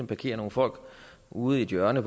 parkerer nogle folk ude i et hjørne